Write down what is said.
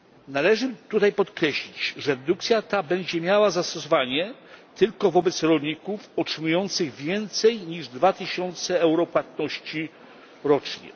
Należy tutaj podkreślić, że dedukcja ta będzie miała zastosowanie tylko wobec rolników otrzymujących więcej niż 2000 euro płatności rocznie.